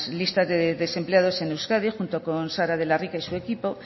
listas de desempleados en euskadi junto con sara de la rica y su equipo